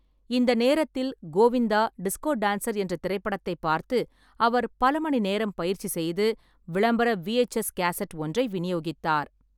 இந்த நேரத்தில், Govinda disco dancer என்ற திரைப்படத்தைப் பார்த்து, அவர் பல மணி நேரம் பயிற்சி செய்து, விளம்பர விஎச்எஸ் கேசட் ஒன்றை விநியோகித்தார்.